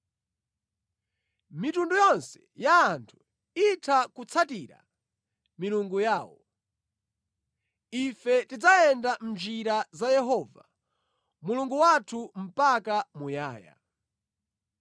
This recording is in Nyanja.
Mitundu yonse ya anthu itha kutsatira milungu yawo; ife tidzayenda mʼnjira za Yehova Mulungu wathu mpaka muyaya.